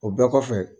O bɛɛ kɔfɛ